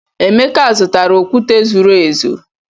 Emeka, zụtara okwute zuru ezu.